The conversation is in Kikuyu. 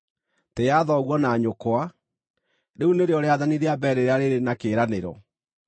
“Tĩĩa thoguo na nyũkwa,” rĩu nĩrĩo rĩathani rĩa mbere rĩrĩa rĩrĩ na kĩĩranĩro,